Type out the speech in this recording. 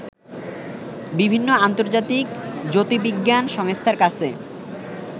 বিভিন্ন আন্তর্জাতিক জ্যোতির্বিজ্ঞান সংস্থার কাছে